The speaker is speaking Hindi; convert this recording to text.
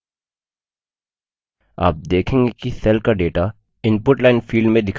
आप देखेंगे कि cell का data input line field में दिखाई data है